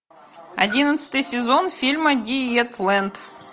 одиннадцатый сезон фильма диетлэнд